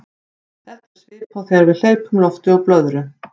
þetta er svipað og þegar við hleypum lofti úr blöðru